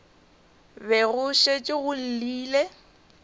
be go šetše go llile